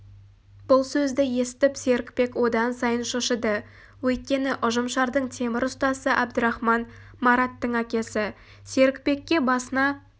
бұл сөзді естіп серікбек одан сайын шошыды өйткені ұжымшардың темір ұстасы әбдірахман мараттың әкесі серікбекке басына